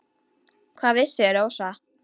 Hvað vissi Rósa.